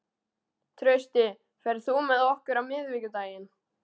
Trausti, ferð þú með okkur á miðvikudaginn?